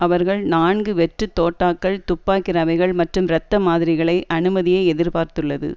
அவர்கள் நான்கு வெற்றுத் தோட்டாக்கள் துப்பாக்கி ரவைகள் மற்றும் இரத்த மாதிரிகளை அனுமதியை எதிர்பார்த்துள்ளது